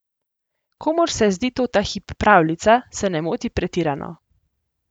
Komur se zdi to ta hip pravljica, se ne moti pretirano.